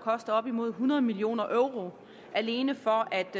koste op imod hundrede million euro alene for at